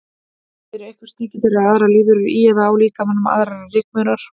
Eru einhver sníkjudýr eða aðrar lífverur í eða á líkamanum, aðrar en rykmaurar?